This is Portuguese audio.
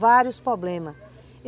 Vários problemas.